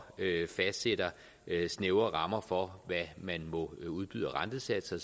fastsætter snævre rammer for hvad man må udbyde af rentesatser